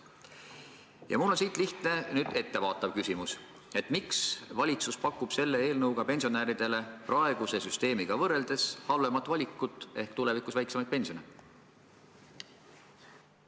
Sellest tulenevalt on mul lihtne ettevaatav küsimus: miks pakub valitsus selle eelnõuga pensionäridele praeguse süsteemiga võrreldes halvemat valikut ehk tulevikus väiksemat pensioni?